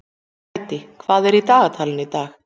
Hædý, hvað er í dagatalinu í dag?